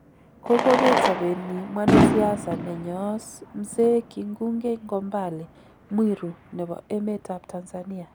Kogobeet sobnyin mwanasiasa nenyoos Mzee Kingunge Ngombale Mwiru nebo emet Tanzania.